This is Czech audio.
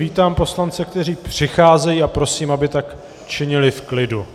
Vítám poslance, kteří přicházejí, a prosím, aby tak činili v klidu.